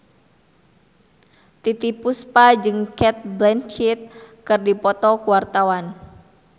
Titiek Puspa jeung Cate Blanchett keur dipoto ku wartawan